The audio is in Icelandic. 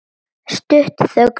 Stutt þögn.